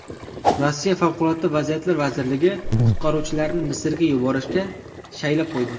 Rossiya Favqulodda vaziyatlar vazirligi qutqaruvchilarni Misrga yuborishga shaylab qo‘ydi.